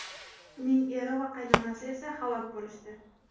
Uning eri va qaynonasi esa halok bo‘lishdi.